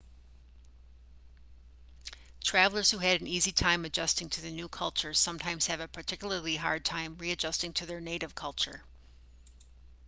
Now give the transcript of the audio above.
travellers who had an easy time adjusting to the new culture sometimes have a particularly hard time readjusting to their native culture